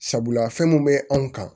Sabula fɛn mun bɛ anw kan